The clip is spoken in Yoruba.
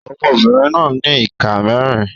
Ọmọbìnrin náà ní ìka mẹ́rin.